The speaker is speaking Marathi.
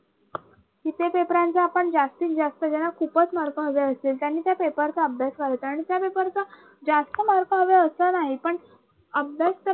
कि ते paper रांचा आपण जास्तीत जास्त ज्यांना खूपच mark हवे असेल त्यांनी त्या paper चा अभ्यास करायचा आणि त्या paper चा जास्त mark हवे असं नाही पण अभ्यास